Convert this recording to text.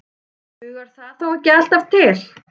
Og dugar það þó ekki alltaf til.